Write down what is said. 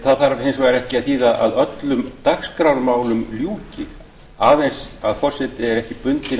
það þarf hins vegar ekki að þýða að öllum dagskrármálum ljúki aðeins að forseti er ekki bundinn